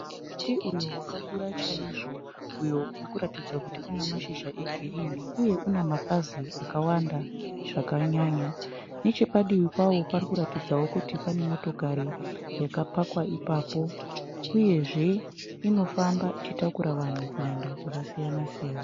Muti uyo wakakura chaizvo uyo uri kuratidza kuti una mashizha egirini uye una mapazi akawanda zvakanyanya nechepadivi pawo parikuratidzawo kuti pane motokari yakapakwa ipapo uyezve inofamba ichitakura vanhu kuenda kwakasiyana siyana.